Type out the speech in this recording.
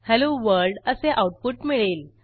hello world असे output मिळेल